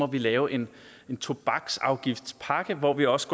vi lave en tobaksafgiftspakke hvor vi også